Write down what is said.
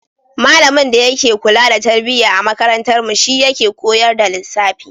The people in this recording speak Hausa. Malamin da yake kula da tarbiyya a makarantarmu shi yake koyar da lissafi.